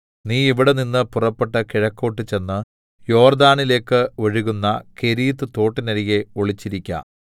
നീ ഇവിടെനിന്ന് പുറപ്പെട്ട് കിഴക്കോട്ട് ചെന്ന് യോർദ്ദാനിലേക്ക് ഒഴുകുന്ന കെരീത്ത് തോട്ടിനരികെ ഒളിച്ചിരിക്ക